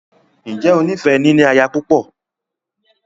Ǹjẹ́ o ní fẹ “ níní aya púpọ̀”?